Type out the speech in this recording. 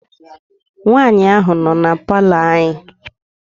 Nwaanyị ahụ nọ na palọ anyị.